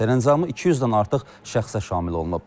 Əfv sərəncamı 200-dən artıq şəxsə şamil olunub.